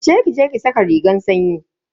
Wuce ki je ki saka rigar sanyi.